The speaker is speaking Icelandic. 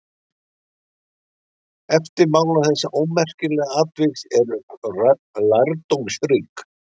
Eftirmál þessa ómerkilega atviks eru lærdómsrík.